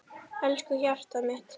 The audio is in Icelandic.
Elsku hjartað mitt.